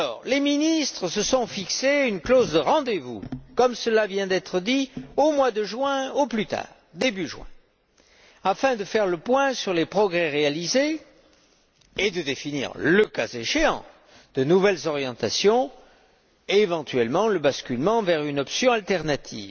Les ministres se sont fixé une clause de rendez vous, comme cela vient d'être dit, au mois de juin au plus tard début juin afin de faire le point sur les progrès réalisés et de définir, le cas échéant, de nouvelles orientations et, éventuellement, le basculement vers une option alternative.